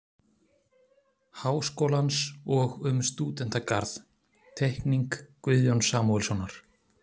Háskólans og um stúdentagarð- Teikning Guðjóns Samúelssonar